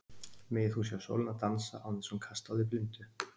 Megir þú sjá sólina dansa án þess að hún kasti á þig blindu.